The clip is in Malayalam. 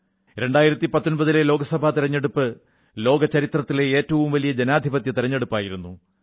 2019ലെ ലോകസഭാ തിരഞ്ഞെടുപ്പ് ലോകചരിത്രത്തിലെ ഏറ്റവും വലിയ ജനാധിപത്യ തിരഞ്ഞെടുപ്പായിരുന്നു